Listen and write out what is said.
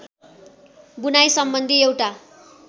बुनाइ सम्बन्धी एउटा